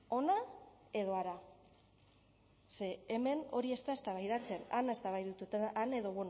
hona edo hara ze hemen hori ez da eztabaidatzen han eztabaidatzen da han edo